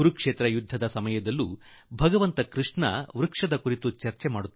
ಕುರುಕ್ಷೇತ್ರದ ಯುದ್ಧ ರಂಗದಲ್ಲಿ ಭಗವಾನ್ ಶ್ರೀ ಕೃಷ್ಣ ಮರಗಳ ಕುರಿತು ಚರ್ಚಿಸುವರು